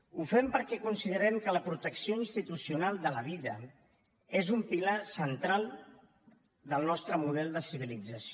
ho fem perquè considerem que la protecció institucional de la vida és un pilar central del nostre model de civilització